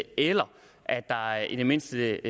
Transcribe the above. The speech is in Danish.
eller at der i det mindste